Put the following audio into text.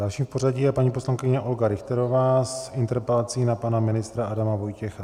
Dalším v pořadí je paní poslankyně Olga Richterová s interpelací na pana ministra Adama Vojtěcha.